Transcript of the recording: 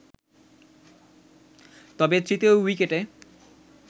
তবে তৃতীয় উইকেটে